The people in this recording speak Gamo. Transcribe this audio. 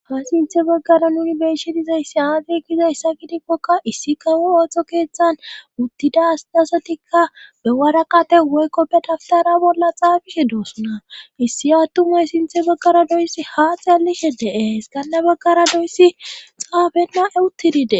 ha sinthe baggara nuni beeshe dizayssi aade gizayssa kidikkokka issi kawo ooththo keeththan uttida sdasotikka be waraqate woykkoppedaftara bolla xaafishe doossna issi attumay sinthe baggara doyssi haa xaallishe de7ees kanna baggara doyssi xaafenna e uttidide